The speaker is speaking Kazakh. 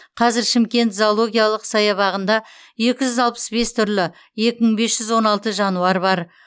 қазір шымкент зоологиялық саябағында екі жүз алпыс бес түрлі екі мың бес жүз он алты жануар бар